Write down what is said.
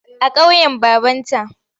A ƙauyen babanta.